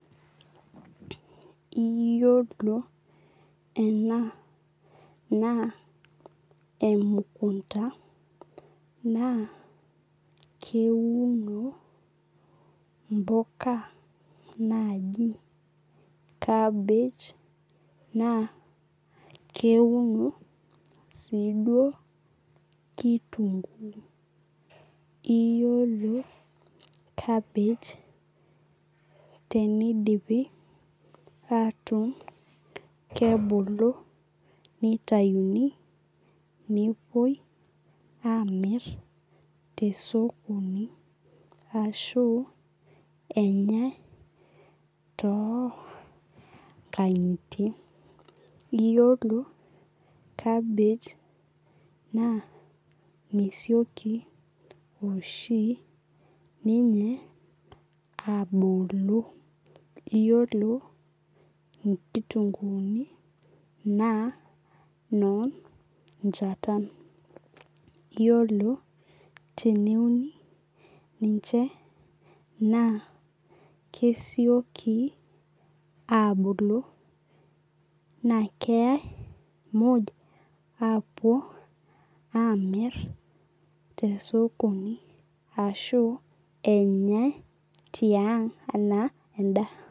Iyolo ena na emukunda naa keuno impuka nani kabej na keono si duo kitunguu iyolo kabej tenidipi atuun ntauni nepuoi amir tosokoni ashu enyae tonkangitie iyolo kabej na misioki oshi ninye abolo iyolo nmitunguuni na nonchatan iyolo teneuni ninche na kesioki abulu na keyae muja apuo amitlr tosokoni ashu enyae tiang ana endaa.